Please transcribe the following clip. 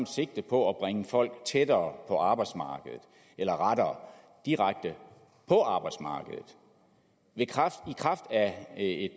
sigte på at bringe folk tættere på arbejdsmarkedet eller rettere direkte på arbejdsmarkedet i kraft af